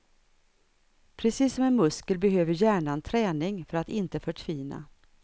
Precis som en muskel behöver hjärnan träning för att inte förtvina.